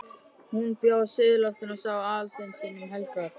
HÚN bjó á suðurloftinu og sá Aðalstein sinn um helgar.